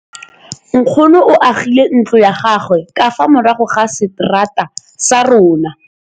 Nkgonne o agile ntlo ya gagwe ka fa morago ga seterata sa rona.